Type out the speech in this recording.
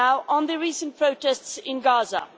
On the recent protests in Gaza.